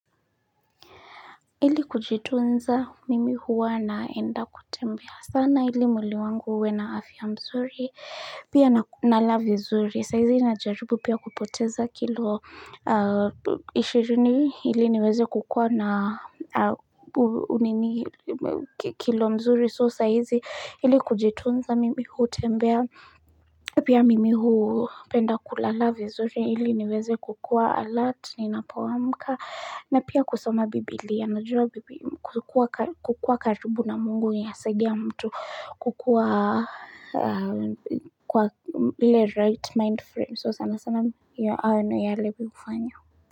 Ili kujitunza mimi huwa naenda kutembea sana ili mwili wangu uwe na afya mzuri pia nala vizuri saizi na jaribu pia kupoteza kilo ishirini ili niweze kukuwa na unini kilo mzuri so saizi ili kujitunza mimi huu tembea pia mimi huu penda kulala vizuri ili niweze kukua alati ni napoamka na pia kusoma bibilia ya najuwa kukua karibu na mungu inasaidia mtu kukua kwa le right mind frame. So sana sana ya alebi ufanya.